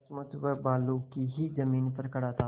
सचमुच वह बालू की ही जमीन पर खड़ा था